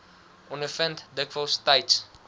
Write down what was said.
ondervind dikwels tyds